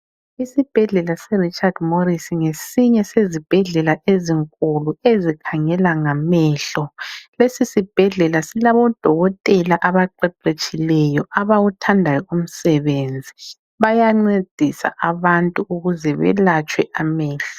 Isibhedlela se Richard Morris ngesinye sezibhedlela ezinkulu ezikhangela ngamehlo. Lesisibhedlela silabodokotela abaqeqetshileyo abawuthandayo umsebenzi, bayancedisa abantu ukuze belatshwe amehlo